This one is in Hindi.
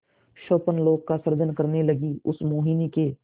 स्वप्नलोक का सृजन करने लगीउस मोहिनी के